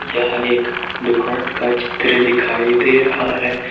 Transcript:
यह एक दुकान का चित्र दिखाई दे रहा है।